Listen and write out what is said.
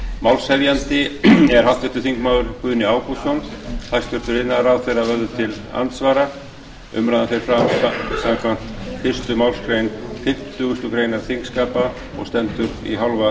málshefjandi er háttvirtur þingmaður guðni ágústsson hæstvirtur iðnaðarráðherra verður til andsvara umræðan fer fram samkvæmt fyrstu málsgrein fimmtugustu grein þingskapa og stendur í hálfa klukkustund